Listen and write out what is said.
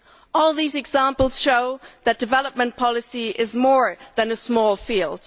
All these example show that development policy is more than a small field.